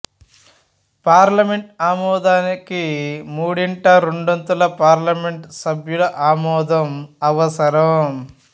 parliament ఆమోదానికి మూడింట రెండొంతుల పార్లమెంటు సభ్యుల ఆమోదం అవసరం